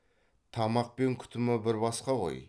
тамақ пен күтімі бір басқа ғой